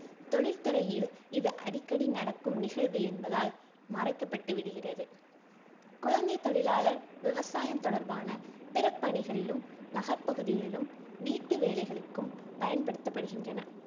தொழில்துறையில் இது அடிக்கடி நடக்கும் நிகழ்வு என்பதால் மறைக்கப்பட்டு விடுகிறது குழந்தைத் தொழிலாளர் விவசாயம் தொடர்பான பிற பணிகளிலும், நகர்ப்பகுதிகளிலும் வீட்டு வேலைகளுக்கும் பயன்படுத்தப்படுகின்றனர்.